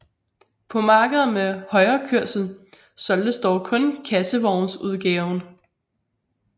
På markeder med højrekørsel solgtes dog kun kassevognsudgaven